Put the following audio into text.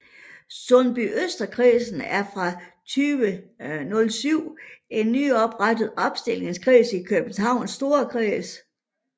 Sundbyøsterkredsen er fra 2007 en nyoprettet opstillingskreds i Københavns Storkreds